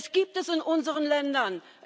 Es gibt es in unseren Ländern.